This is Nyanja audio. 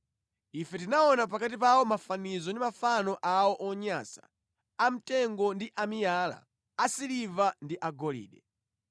Ife tinaona pakati pawo mafanizo ndi mafano awo onyansa, amtengo ndi amiyala, asiliva ndi agolide.